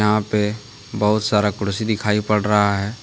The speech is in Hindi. पे बहुत सारा कुर्सी दिखाई पड़ रहा है।